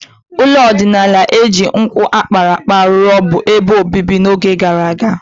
Ụlọ ọdịnala ndị e ji nkwụ a kpara akpa rụ bụ ebe obibi n'oge gara aga.